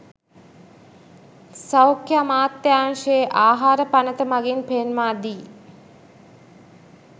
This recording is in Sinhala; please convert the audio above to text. සෞඛ්‍ය අමාත්‍යාංශයේ ආහාර පනත මගින් පෙන්වා දී